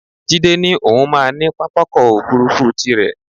Jídé ní òun máa ní pápákọ̀ òfuurufú tirẹ̀